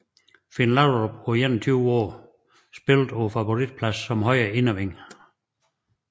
Finn Laudrup på 21 år spillede på favoritpladsen som højre innerwing